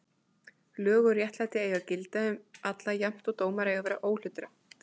Lög og réttlæti eiga að gilda um alla jafnt og dómar eiga að vera óhlutdrægir.